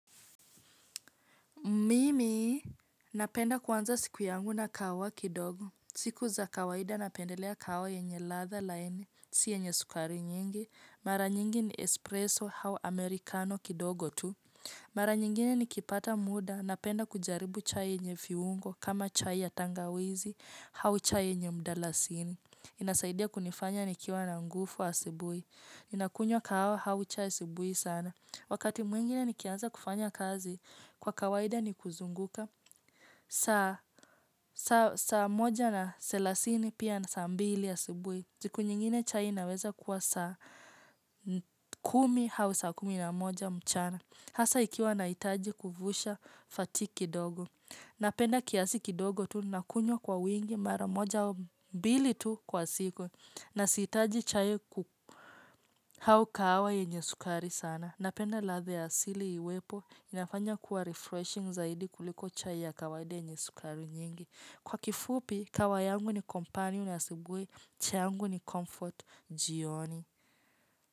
Mimi, napenda kuanza siku yangu na kahawa kidogo. Siku za kawaida napendelea kahawa yenye ladha laini, si yenye sukari nyingi. Mara nyingi ni espresso hau amerikano kidogo tu. Mara nyingine ni kipata muda, napenda kujaribu chai yenye viungo, kama chai ya tangawizi, hau chai yenye mdalasini. Inasaidia kunifanya nikiwa na nguvu asubui ninakunywa kahawa hau chai asubui sana wakati mwingine nikianza kufanya kazi kwa kawaida ni kuzunguka saa moja na selasini pia na saa mbili ya asubui siku nyingine chai inaweza kuwa saa kumi hau saa kumi na moja mchana hasa ikiwa nahitaji kuvusha fati kidogo napenda kiasi kidogo tu nakunywa kwa wingi mara moja au mbili tu kwa siku na sihitaji chai ku, hau kahawa yenye sukari sana napenda ladha ya asili iwepo inafanya kuwa refreshing zaidi kuliko chai ya kawaida yenye sukari nyingi. Kwa kifupi kahawa yangu ni kompanioni asubui chai yangu ni comfort jioni.